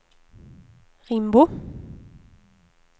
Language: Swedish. Rimbo